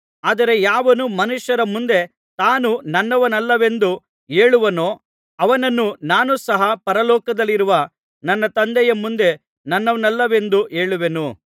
ಆದರೆ ಯಾವನು ಮನುಷ್ಯರ ಮುಂದೆ ತಾನು ನನ್ನವನಲ್ಲವೆಂದು ಹೇಳುವನೋ ಅವನನ್ನು ನಾನು ಸಹ ಪರಲೋಕದಲ್ಲಿರುವ ನನ್ನ ತಂದೆಯ ಮುಂದೆ ನನ್ನವನಲ್ಲವೆಂದು ಹೇಳುವೆನು